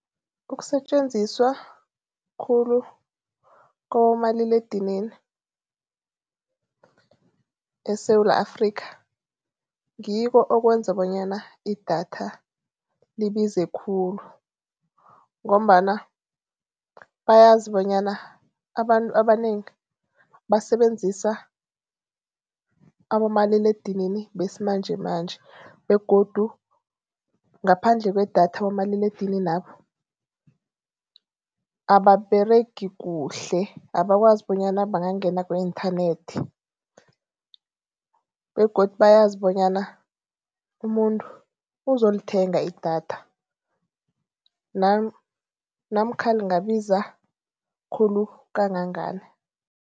Ukusetjenziswa khulu kwabomaliledinini eSewula Afrikha, ngikho okwenza bonyana idatha libize khulu ngombana bayazi bonyana abantu abanengi basebenzisa abomaliledinini besimanjemanje begodu ngaphandle kwedatha abomaliledininabo ababeregi kuhle. Abakwazi bonyana bangangena ku-inthanethi begodu bayazi bonyana umuntu uzolithenga idatha namkha lingabiza khulu kangangani.